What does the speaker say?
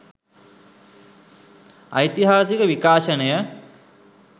ඓතිහාසික විකාශනය